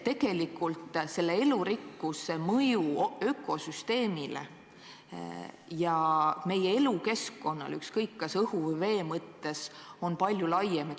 Tegelikult on elurikkuse mõju ökosüsteemile ja meie elukeskkonnale, ükskõik kas peame silmas õhku või vett, palju laiem.